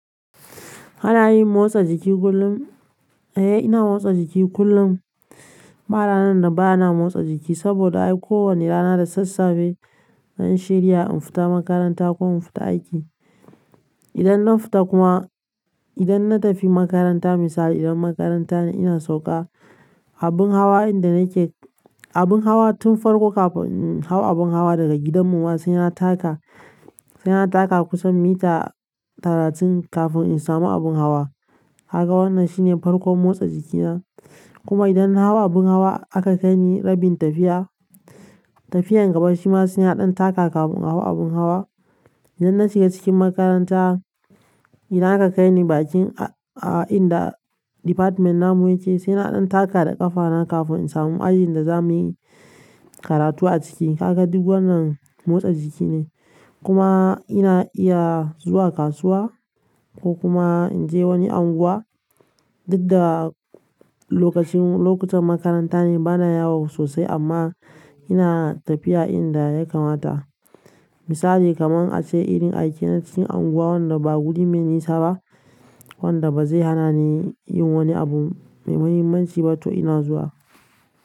Kana yin motsa jiki kullum? Eh ina motsa jiki kullum. Ba ranan da ba na motsa jiki saboda ai kowanne rana da sassafe zan shirya in fita makaranta ko in fita aiki. Idan na fita kuma, idan na tafi makaranta misali idan makaranta ne ina sauka, abin hawa inda nake, abin hawa tun farko kafin in hau abin hawa daga gidanmu ma sai na taka, sai na taka kusan mita talatin kafin in samu abin hawa. Haka wannan shine farkon motsa jikina. Kuma idan na hau abin hawa aka kai ni rabin tafiya, tafiyan gaba shi ma sai na ɗan taka kafin in hau abin hawa. Idan na shiga cikin makaranta, idan aka kai ni bakin a-a inda. Department namu yake sai na ɗan taka da ƙafana kafin in samu ajin da za mu yi karatu a ciki. Haka duk wannan motsa jiki ne. Kuma ina iya zuwa kasuwa ko kuma in je wani anguwa, duk da lokacin, lokutan makaranta ne bana yawo sosai, amma ina tafiya inda ya kamata. Misali kaman ace irin aike na cikin anguwa wanda ba guri mai nisa ba. Wanda ba zai hana ni yin wani abu mai muhimmanci ba to ina zuwa.